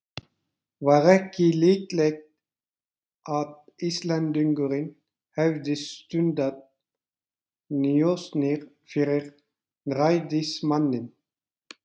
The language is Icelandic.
Var ekki líklegt að Íslendingurinn hefði stundað njósnir fyrir ræðismanninn?